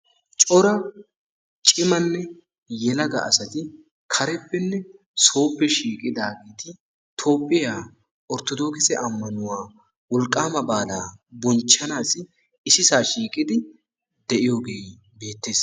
Cora cimanne yelaga asati kareppenne soope shiiqidaageti Toophiya orttodokisse ammanuwa wolqqamaa baalaa bonchchanassi issisaa shiiqidi de'iyooge beettees.